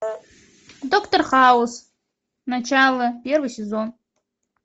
доктор хаус начало первый сезон